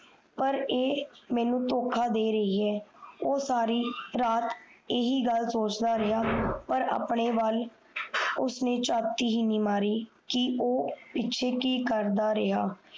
ਪਰ ਏ ਮਿਣੋ ਤੋਖਾ ਦੇ ਰਹੀ ਹੈ ਓ ਸਾਰੀ ਰਾਤ ਹੀ ਗੱਲ ਸੋਚਦਾ ਰਿਹਾ ਪਰ ਉਸ ਨੇ ਆਪਣੇ ਵਾਲ ਉਸਨੇ ਚਾਟੀ ਹੀਣੀ ਮਾਰੀ ਕਿ ਓ ਕਿ ਕਰਦਾ ਰਿਹਾ